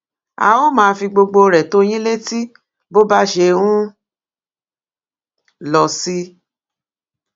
a ó máa fi gbogbo rẹ tó yín létí bó bá ṣe ń lọ sí